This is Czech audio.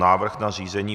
Návrh na zřízení